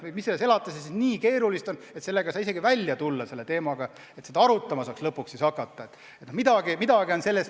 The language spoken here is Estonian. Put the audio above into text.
No mis selles elatises nii keerulist on, et lahendusega ei saa isegi välja tulla, et seda saaks lõpuks arutama hakata?!